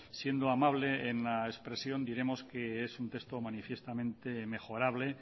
siendo amable en la expresión diremos que es un texto manifiestamente mejorable